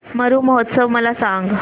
मरु महोत्सव मला सांग